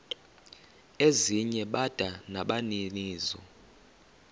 ezinye bada nabaninizo